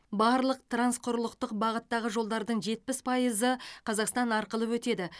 барлық трансқұрлықтық бағыттағы жолдардың жетпіс пайызы қазақстан арқылы өтеді